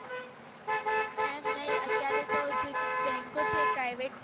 એમ નઈઅત્યારે તો જે bank એ private ગય છે